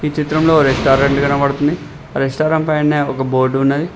చిత్రం లో ఒక రెస్టారెంట్ కనపడుతుంది ఆ రెస్టారెంట్ పైననే ఒక బోర్డు ఉన్నది.